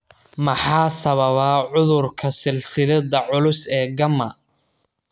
Maxaa sababa cudurka silsiladda culus ee gamma?